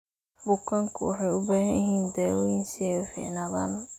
Bukaanku waxay u baahan yihiin daaweyn si ay u fiicnaadaan.